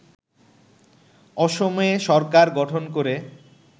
অসমে সরকার গঠন করে